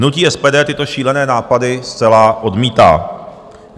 Hnutí SPD tyto šílené nápady zcela odmítá.